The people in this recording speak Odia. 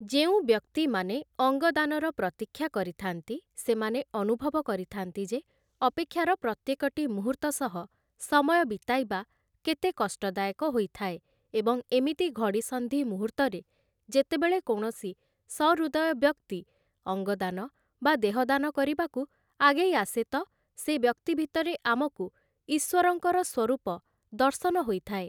ଯେଉଁ ବ୍ୟକ୍ତିମାନେ ଅଙ୍ଗଦାନର ପ୍ରତୀକ୍ଷା କରିଥାନ୍ତି ସେମାନେ ଅନୁଭବ କରିଥାନ୍ତି ଯେ ଅପେକ୍ଷାର ପ୍ରତ୍ୟେକଟି ମୁହୂର୍ତ୍ତ ସହ ସମୟ ବିତାଇବା କେତେ କଷ୍ଟଦାୟକ ହୋଇଥାଏ ଏବଂ ଏମିତି ଘଡ଼ିସନ୍ଧି ମୁହୂର୍ତରେ ଯେତେବେଳେ କୌଣସି ସହୃଦୟ ବ୍ୟକ୍ତି ଅଙ୍ଗଦାନ ବା ଦେହଦାନ କରିବାକୁ ଆଗେଇଆସେ ତ, ସେ ବ୍ୟକ୍ତି ଭିତରେ ଆମକୁ ଈଶ୍ୱରଙ୍କର ସ୍ୱରୂପ ଦର୍ଶନ ହୋଇଥାଏ ।